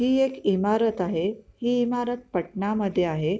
ही एक इमारत आहे ही इमारत पटणा मध्ये आहे.